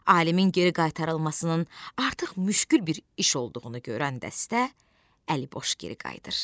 Alimin geri qaytarılmasının artıq müşkül bir iş olduğunu görən dəstə əliboş geri qayıdır.